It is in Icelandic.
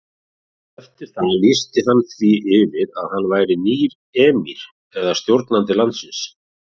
Eftir það lýsti hann því yfir að hann væri nýr emír eða stjórnandi landsins.